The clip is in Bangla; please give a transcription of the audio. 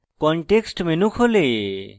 context menu খোলে